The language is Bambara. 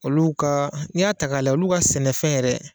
Olu ka n'i y'a ta lajɛ olu ka sɛnɛfɛn yɛrɛ